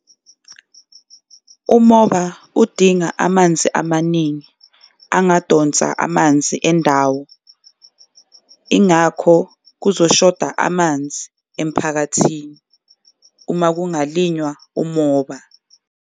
Umoba udinga amanzi amaningi angadonsa amanzi endawo, ingakho kuzoshoda amanzi emphakathini uma kungalinywa umoba.